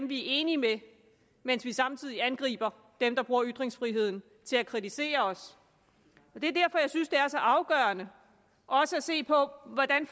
vi er enige med mens vi samtidig angriber dem der bruger ytringsfriheden til at kritisere os det er derfor jeg synes det er så afgørende også at se på hvordan